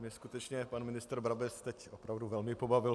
Mně skutečně pan ministr Brabec teď opravdu velmi pobavil.